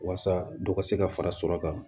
Waasa dɔ ka se ka fara sɔrɔ kan